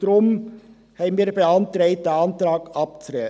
Deshalb haben wir beantragt, diesen Antrag abzulehnen.